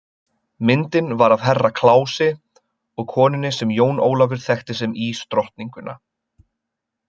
Myndin var af Herra Kláusi og konunni sem Jón Ólafur þekkti sem ísdrottninguna.